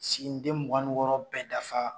Siginide mugan ni wɔɔrɔ bɛ dafa